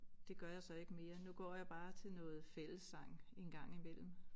Det gør jeg så ikke mere nu går jeg bare til noget fællessang en gang imellem